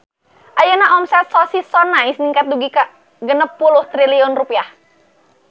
Ayeuna omset Sosis So Nice ningkat dugi ka 60 triliun rupiah